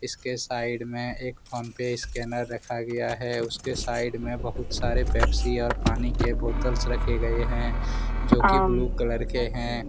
इसके साइड में एक फोनपे स्कैनर रखा गया है उसके साइड में बहुत सारे पेप्सी और पानी के बोतल से रखे गए हैं जो की ब्लू कलर के हैं।